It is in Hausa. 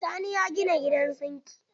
Sani ya gina gidan zingi.